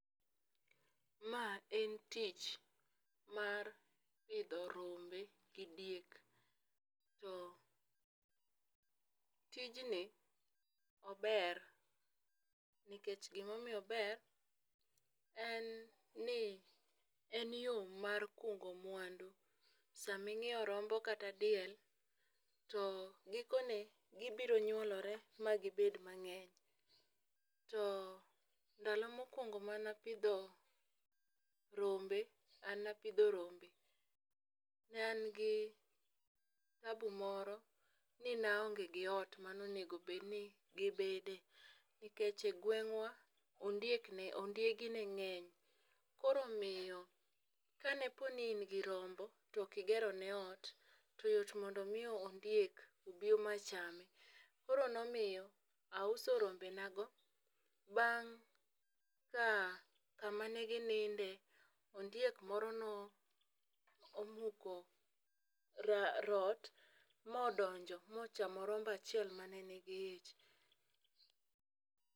Ma en tich pidho rombe gi diek. To tijni ober nikech gima omiyo ober en ni en yo mar kungo mwandu. Sama inyiewo rombo kata diel, to gikone, gibiro nyuolore ma gibend mangény. To ndalo mokwongo mane apidho rombe, an ne apidho rombe, ne an gi tabu moro ni ne aonge gi ot ma ne onego bed ni gibede. Nikech e gweng'wa, ondiek ne, ondiegi ne ngéng. Koro omiyo ka ne po ni in go rombo, to ok igero ne ot, to yot mondo omi ondiek, obi machame. Koro ne omiyo, auso rombe na go, bang' ka kama ne gi ninde, ondiek moro ne omuko rot ma odonjo, ma ochamo rombo achiel ma ne nigi ich.